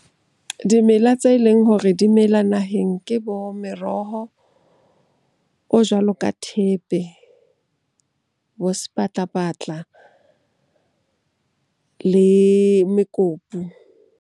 Dimela tse leng hore di mela naheng ke bo meroho o jwalo ka thepe, bo sepatlapatla le mekopu.